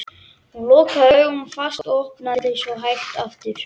Hún lokaði augunum fast og opnaði þau svo hægt aftur.